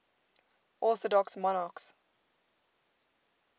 orthodox monarchs